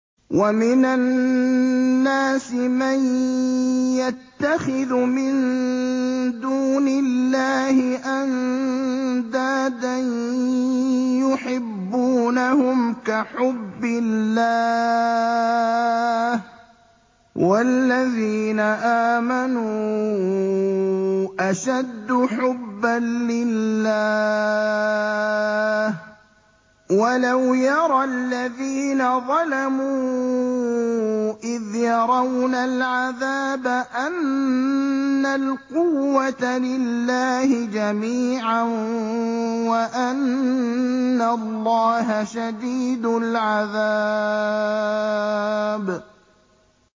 وَمِنَ النَّاسِ مَن يَتَّخِذُ مِن دُونِ اللَّهِ أَندَادًا يُحِبُّونَهُمْ كَحُبِّ اللَّهِ ۖ وَالَّذِينَ آمَنُوا أَشَدُّ حُبًّا لِّلَّهِ ۗ وَلَوْ يَرَى الَّذِينَ ظَلَمُوا إِذْ يَرَوْنَ الْعَذَابَ أَنَّ الْقُوَّةَ لِلَّهِ جَمِيعًا وَأَنَّ اللَّهَ شَدِيدُ الْعَذَابِ